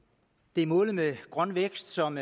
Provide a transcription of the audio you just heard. det er målet med grøn vækst som